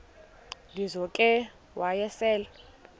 lizo ke wayesel